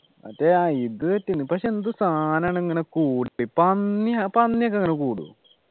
മറ്റേ ആ ഇത് കിട്ടീന് പക്ഷേ എന്ത് സനാണ് ഇങ്ങനെ കൂടിട്ടു പന്നിയാ പന്നിയോക്കെ അങ്ങനെ കൂടോ